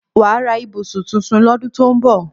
Wàá ra ibùsùn tuntun lọ́dún tó ń bọ̀